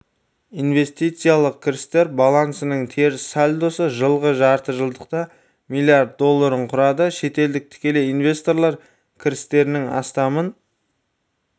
инвестициялық кірістер балансының теріс сальдосы жылғы жартыжылдықта млрд долларын құрады шетелдік тікелей инвесторлар кірістерінің астамын